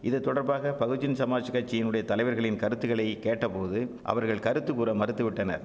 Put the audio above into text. இது தொடர்பாக பகுஜன் சமாஜ் கட்சியினுடைய தலைவர்களின் கருத்துகளை கேட்டபோது அவர்கள் கருத்துகூற மறுத்துவிட்டனர்